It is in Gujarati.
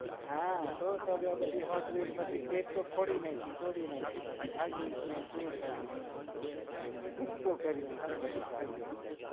હા તોટી નાખી ભૂકો કરી નાખી બધી ગાડી નો